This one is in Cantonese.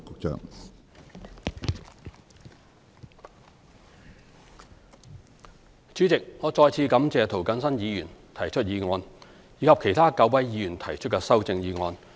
主席，我再次感謝涂謹申議員提出這項議案，以及其他9位議員提出的修正案。